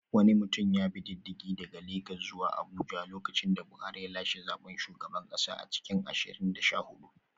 Wani mutum ya bi diddigi daga Legas zuwa Abuja lokacin da Buhari ya lashe zaben shugaban kasa a cikin ashirin da sha hudu